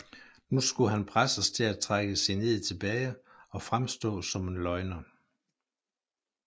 Nu skulle han presses til at trække sin ed tilbage og fremstå som en løgner